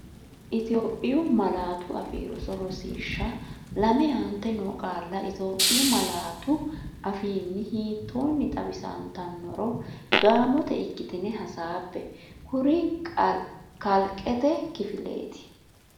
Itophiyu Malaatu Afii Roso Rosiishsha Lame Aante noo qaalla Itophiyu malaatu afiinni hiittoonni xawisantannoro gaamote ikkitine hasaabbe, kori kalqete kifileeti?